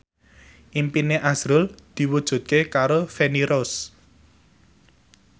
impine azrul diwujudke karo Feni Rose